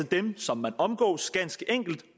dem som man omgås